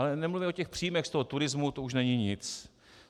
Ale nemluvíme o těch příjmech z toho turismu, to už není nic.